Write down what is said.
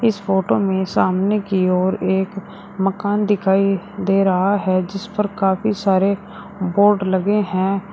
इस फोटो में सामने की ओर एक मकान दिखाइ दे रहा है जिस पर काफी सारे बोर्ड लगे हैं।